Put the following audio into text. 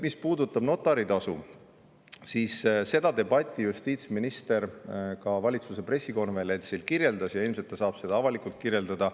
Mis puudutab notaritasu, siis seda debatti justiitsminister ka valitsuse pressikonverentsil kirjeldas ja ilmselt ta saab seda avalikult kirjeldada.